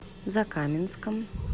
закаменском